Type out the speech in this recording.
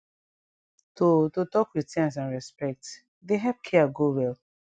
to to talk wit sense and respect dey epp care go well